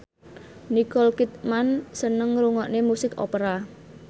Nicole Kidman seneng ngrungokne musik opera